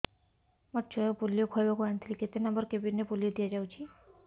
ମୋର ଛୁଆକୁ ପୋଲିଓ ଖୁଆଇବାକୁ ଆଣିଥିଲି କେତେ ନମ୍ବର କେବିନ ରେ ପୋଲିଓ ଦିଆଯାଉଛି